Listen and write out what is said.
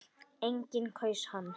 Enginn kaus hann.